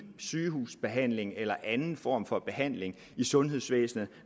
sygehusbehandling eller anden form for behandling i sundhedsvæsenet